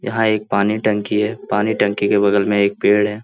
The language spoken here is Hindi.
यहाँ एक पानी टंकी हैपानी टंकी के बगल में एक पेड़ है |